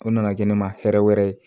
O nana kɛ ne ma hɛrɛ wɛrɛ ye